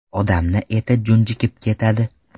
Odamni eti junjikib ketadi.